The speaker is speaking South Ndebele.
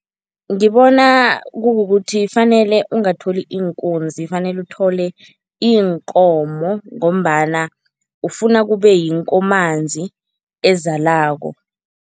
Ngibona kukukuthi fanele ungatholi iinkunzi, fanele uthole iinkomo ngombana ufuna kube yinkomanzi ezalako.